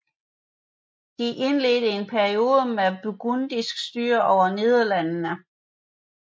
De indledte en periode med burgundisk styre over Nederlandene